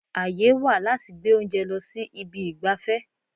Àyè wà láti gbé oúnjẹ lọ sí ibi ìgbafẹ́.